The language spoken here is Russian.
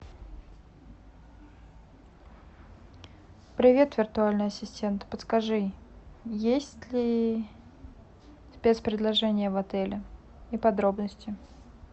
привет виртуальный ассистент подскажи есть ли спец предложения в отеле и подробности